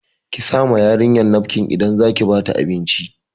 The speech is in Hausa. Ki sa ma yarinyar nafkin idan zaki ba ta abinci